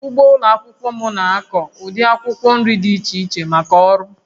Ugbo ụlọ akwụkwọ m na-akụ ụdị akwụkwọ nri dị iche iche maka ọrụ